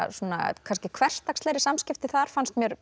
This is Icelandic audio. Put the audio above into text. kannski hversdagslegri samskipti þar fannst mér